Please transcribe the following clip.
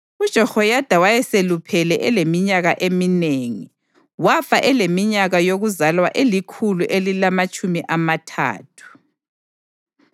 UJehoyada wayeseluphele eleminyaka eminengi, wafa eleminyaka yokuzalwa elikhulu elilamatshumi amathathu.